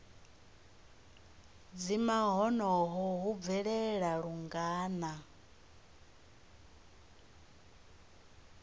dzima honoho hu bvelela lungana